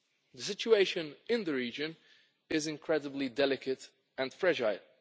moves. The situation in the region is incredibly delicate and